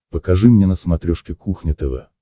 покажи мне на смотрешке кухня тв